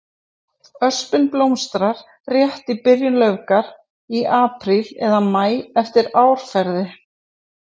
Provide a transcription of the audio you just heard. Öspin blómstrar rétt í byrjun laufgunar, í apríl eða maí eftir árferði.